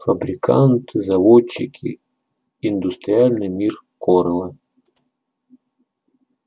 фабриканты заводчики индустриальный мир корела